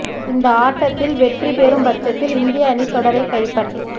இந்த ஆட்டத்தில் வெற்றி பெறும் பட்சத்தில் இந்திய அணி தொடரைக் கைப்பற்